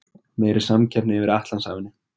Meiri samkeppni yfir Atlantshafinu